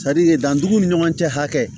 danduguw ni ɲɔgɔn cɛ hakɛ